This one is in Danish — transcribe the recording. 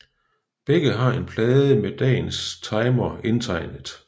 Begge har en plade med dagens timer indtegnet